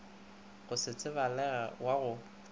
go se tsebalege wa go